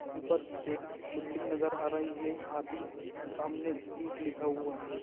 ऊपर एक बिल्डिग नजर आ रही है आदि सामने स्टिक लिखा हुआ है।